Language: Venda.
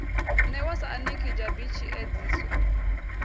newa sa anekidzha b tshiedziso